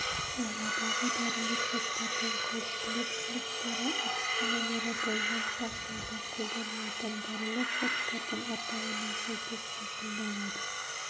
ауадағы дәрілік заттардың қауіптілік сыныптары әдістемелері болған жағдайда қолданылатын дәрілік заттардың атауына сәйкес айқындалады